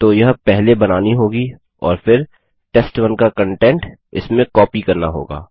तो यह पहले बनानी होगी और फिर टेस्ट1 का कन्टेंट इसमें कॉपी करना होगा